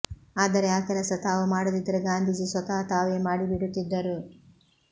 ಆದರೆ ಆ ಕೆಲಸ ತಾವು ಮಾಡದಿದ್ದರೆ ಗಾಂಧೀಜಿ ಸ್ವತಃ ತಾವೇ ಮಾಡಿ ಬಿಡುತ್ತಿದ್ದರು